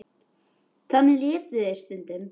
Þannig létu þeir um stund.